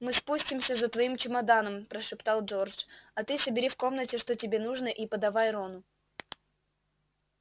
мы спустимся за твоим чемоданом прошептал джордж а ты собери в комнате что тебе нужно и подавай рону